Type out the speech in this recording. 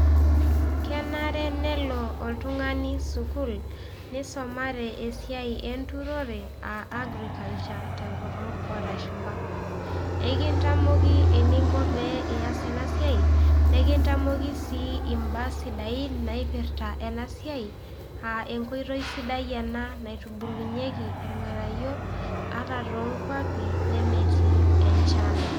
Kenare nelo oltung'ani sukuul nisomare esiai enturore a agriculture te nkutuk olashumba. Kekintamoki eninko pee eas ena siai nekintamoki sii imbaa sidain naipirta ena siai a enkoitoi sidai ena naitubulunyieki irng'anayio ata to nkuapi nemetii enchan.